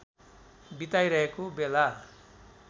बिताइरहेको बेला